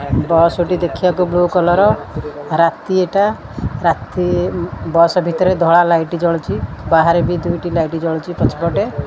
Bus ଟି ଦେଖିବାକୁ blue colour ରାତିଟା ରାତି ବସ୍ ଭିତରେ ଧଳା ଲାଇଟ୍ ଜଳୁଛି ବାହାରେ ବି ଦୁଇଟି ଲାଇଟ୍ ଜଳୁଛି ପଛ ପଟେ।